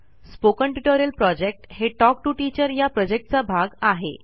spoken tutorial project हे talk to teacher या प्रॉजेक्टचा भाग आहे